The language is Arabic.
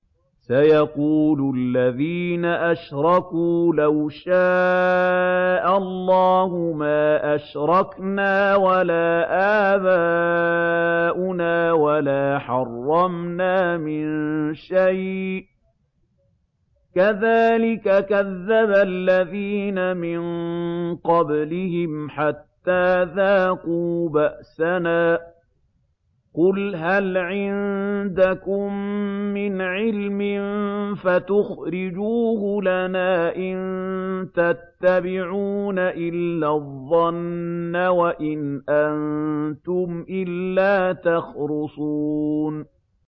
سَيَقُولُ الَّذِينَ أَشْرَكُوا لَوْ شَاءَ اللَّهُ مَا أَشْرَكْنَا وَلَا آبَاؤُنَا وَلَا حَرَّمْنَا مِن شَيْءٍ ۚ كَذَٰلِكَ كَذَّبَ الَّذِينَ مِن قَبْلِهِمْ حَتَّىٰ ذَاقُوا بَأْسَنَا ۗ قُلْ هَلْ عِندَكُم مِّنْ عِلْمٍ فَتُخْرِجُوهُ لَنَا ۖ إِن تَتَّبِعُونَ إِلَّا الظَّنَّ وَإِنْ أَنتُمْ إِلَّا تَخْرُصُونَ